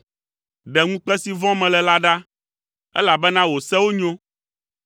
Ɖe ŋukpe si vɔ̃m mele la ɖa, elabena wò sewo nyo.